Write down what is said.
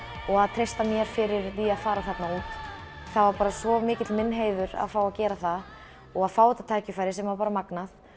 og að treysta mér fyrir því að fara þarna út það var svo mikið minn heiður að fá að gera það og fá þetta tækifæri sem var magnað